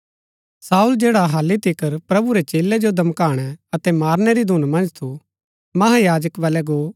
शाऊल जैडा हालि तिकर प्रभु रै चेलै जो धमकाणै अतै मारनै री धून मन्ज थू महायाजक बल्लै गो